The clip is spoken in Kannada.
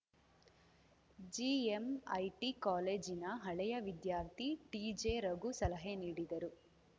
ಜಿಎಂಐಟಿ ಕಾಲೇಜಿನ ಹಳೆಯ ವಿದ್ಯಾರ್ಥಿ ಟಿಜೆರಘು ಸಲಹೆ ನೀಡಿದರು